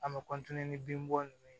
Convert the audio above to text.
An bɛ ni bin bɔ ninnu ye